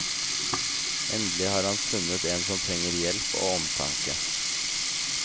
Endelig har han funnet en som trenger hjelp og omtanke.